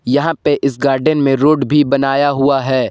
यहां पे इस गार्डन में रोड भी बनाया हुआ है।